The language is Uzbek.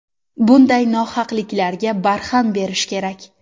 Bunday nohaqliklarga barham berish kerak.